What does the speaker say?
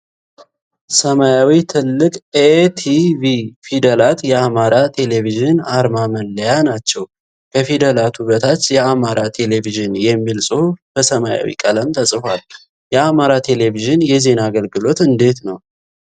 ሰማያዊ ትልቅ 'ኤ' 'ቲ' 'ቪ' ፊደላት የአማራ ቴሌቭዥን አርማ መለያ ናቸው። ከፊደላቱ በታች 'የአማራ ቴሌቭዥን' የሚል ጽሑፍ በሰማያዊ ቀለም ተጽፏል። የአማራ ቴሌቭዥን የዜና አገልግሎት እንዴት ነው?